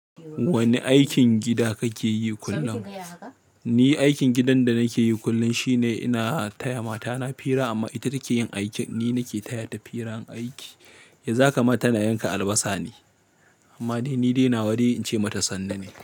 Wane aikin gida kake yi kullum? Ni aikin gidan da nake yi kullum shine ina taya matana fira amma ita take yin aikin. Ni nake taya ta firan aiki. Yanzu haka ma ta na yanka albasa ne? Amma ni dai na wa dai in ce mata sannu ne.